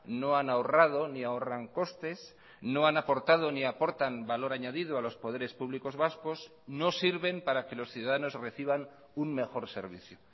no han ahorrado ni ahorran costes no han aportado ni aportan valor añadido a los poderes públicos vascos no sirven para que los ciudadanos reciban un mejor servicio